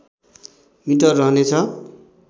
metre रहनेछ